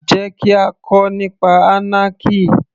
Jẹ́ kí á kọ nípa anarchy